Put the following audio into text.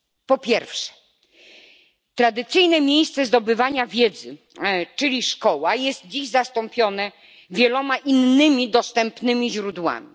Po pierwsze, tradycyjne miejsce zdobywania wiedzy, czyli szkoła, jest dziś zastąpione wieloma innymi dostępnymi źródłami.